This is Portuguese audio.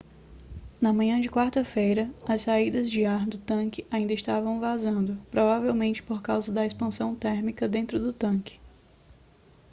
na manhã de quarta-feira as saídas de ar do tanque ainda estavam vazando provavelmente por causa da expansão térmica dentro do tanque